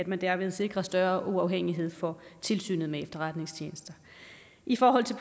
man derved sikrer større uafhængighed for tilsynet med efterretningstjenesterne i forhold til